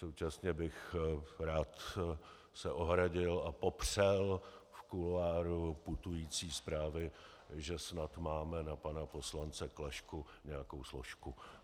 Současně bych se rád ohradil a popřel v kuloáru putující zprávy, že snad máme na pana poslance Klašku nějakou složku.